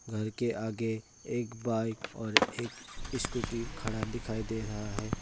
घर के आगे एक बाइक और एक स्कूटी खड़ा दिखाई दे रहा है।